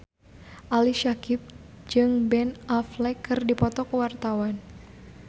Ali Syakieb jeung Ben Affleck keur dipoto ku wartawan